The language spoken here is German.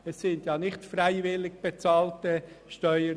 Es sind nicht freiwillig bezahlte Steuern.